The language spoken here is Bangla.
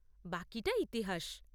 বাকিটা ইতিহাস।